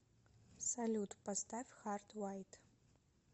салют поставь хард вайт